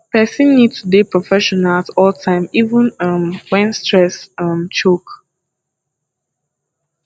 person need to dey professional at all time even um when stress um choke